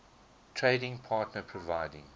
trading partner providing